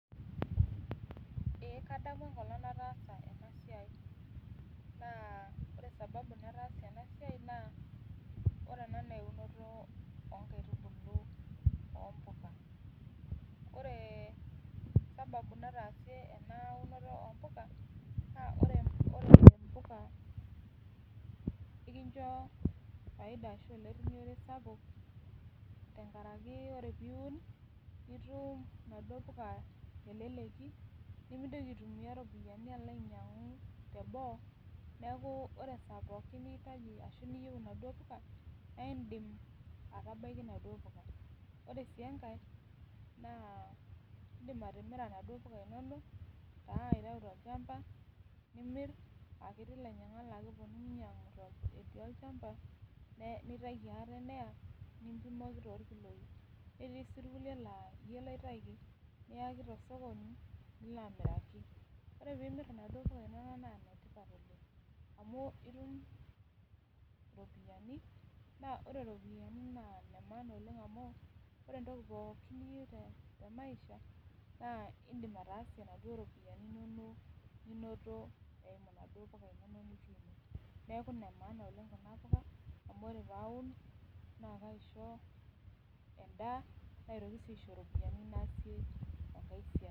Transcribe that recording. Ee kadamu enkolong naitaasa ena siai ,naa ore sababu enasiai naa ore ena naa eunoto inkaitubulu oompuka. Ore sababu natasie eunoto ompuka, naa ore mpuka naa enkicha faida ashu olerinyore sapuk, tenkaraki ore pee iun nitum naduo puka teleleki, nimintoki aitumiyia ropiyiani alo ainyangu teboo ,neeku ore esaa pookin niyieu ashu niitaji naduo puka, naa indim atabaikia naduo puka. Ore sii enkae, naa indim atimira naduo puka inonok taa aitayu tolchampa nimir aa ketii lainyangak oponu ainyangu etii olchampa, nitaiki ate neya nimpimoki torkiloi. Netii sii irkulie laa yie loitaiki ,niyaki tosokoni nilo amiraki. Ore pee imirta naduo puka inonok naa netipata oleng amu itum iropiyiani, naa ore ropiyiani naa nemaana oleng amu ore entoki pookin niyieu temaisha naa indim atasie naduo ropiyiani inonok ninoto tonaduo puka inonok nituuno. Neeku nemaana oleng Kuna puka amu ore pee aun, naa kaisho endaa naitoki sii aisho ropiyiani naasie enkae siai.